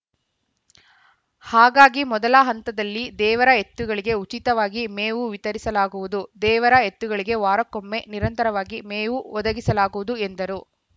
ಹಾಗಾಗಿ ಮೊದಲ ಹಂತದಲ್ಲಿ ದೇವರ ಎತ್ತುಗಳಿಗೆ ಉಚಿತವಾಗಿ ಮೇವು ವಿತರಿಸಲಾಗುವುದು ದೇವರ ಎತ್ತುಗಳಿಗೆ ವಾರಕೊಮ್ಮೆ ನಿರಂತರವಾಗಿ ಮೇವು ಒದಗಿಸಲಾಗುವುದು ಎಂದರು